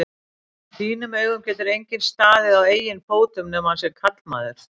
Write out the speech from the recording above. þínum augum getur enginn staðið á eigin fótum nema hann sé karlmaður.